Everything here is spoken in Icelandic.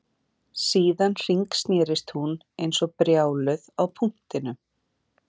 Síðan hringsnerist hún eins og brjáluð á punktinum